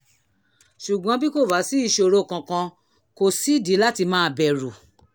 ṣùgbọ́n bí kò bá sí ìṣòro kankan kò sídìí láti máa bẹ̀rù